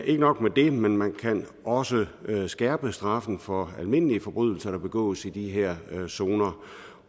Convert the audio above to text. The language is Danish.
ikke nok med det men man kan også skærpe straffen for almindelige forbrydelser der begås i de her zoner